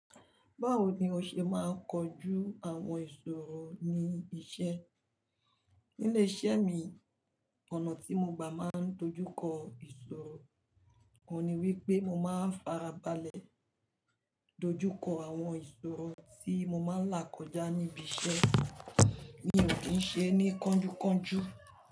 Báwo ni o ṣe máa ń kojú àwọn ìṣòro ní ibi iṣẹ́? Nílé iṣẹ́ mi, ọ̀nà tí mo gbà máa ń dojú kọ ìṣòro, òun ni wípé mo máa ń farabalẹ̀ dojú kọ àwọn ìṣòro tí mo máa ń là kọjá níbi iṣẹ́ mi ò kí ń ṣe ní kánjúkánjú.